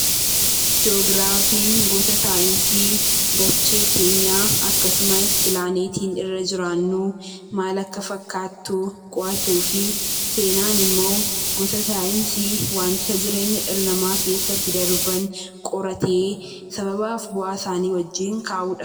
Ji'oogiraafiin gosa saayinsii dachee keenya akkasumas, pilaaneetii irraa jiraannu maal akka fakkattu, qo'atu fi seenaan immo gosa saayinsii dhala nama keessatti darban qorate sababaaf bu'aa saani wajjin kaa'udha.